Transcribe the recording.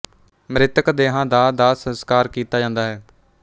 ਮ੍ਰਿਤਕ ਦੇਹਾਂ ਦਾ ਦਾਹ ਸਸਕਾਰ ਕੀਤਾ ਜਾਂਦਾ ਹੈ